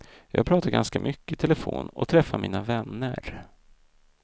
Jag pratar ganska mycket i telefon och träffar mina vänner.